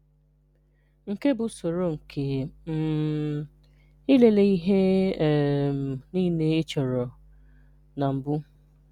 Nké bụ̀ ụ̀sọ̀rò nké um ịlelè ihè um niilè e chọ̀rọ̀ n’mbù